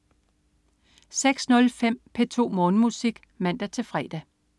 06.05 P2 Morgenmusik (man-fre)